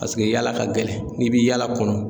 Paseke yaala ka gɛlɛn n'i bi yaala kɔnɔ